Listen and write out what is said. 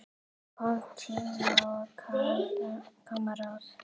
Koma tímar, koma ráð.